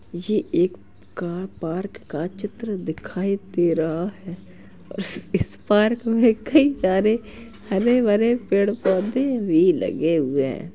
ये एक car park का चित्र दिखाई दे रहा है और इस पार्क में कई सारे हरे-भरे पेड़-पौधे भी लगे हुए हैं।